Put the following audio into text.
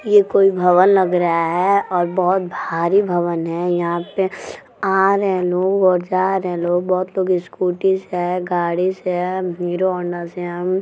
ये कोई भवन लग रहा है और बहुत भारी भवन है। यहां पर आ रहे हैं लोग और जा रहे हैंलोग बहुत लोग स्कूटी से हैगाड़ी से हैहीरो हौंडा से हैं हम --